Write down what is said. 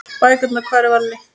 Bækurnar Hvar er Valli?